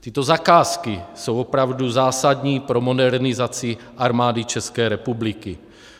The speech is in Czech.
Tyto zakázky jsou opravdu zásadní pro modernizaci Armády České republiky.